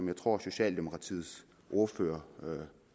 jeg tror socialdemokratiets ordfører